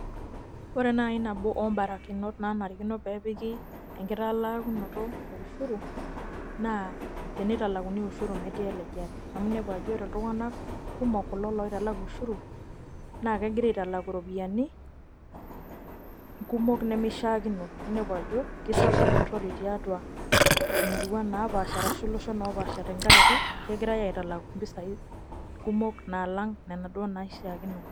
Ore nai nabo obarakinot nanarikino pepiki enkitalaakunoto e ushuru, naa tenitalakuni ushuru metii elejare. Amu nepu ajo ore iltung'anak kumok kulo loitalaku ushuru, nakegira aitalaku ropiyiani, kumok nemishaakino. Ninepu ajo, kisapuk empurrore tiatua imuaruan napaasha arashu, iloshon opaasha tenkaraki, kegirai aitalaku mpisai kumok nalang' nena duo naishaakino.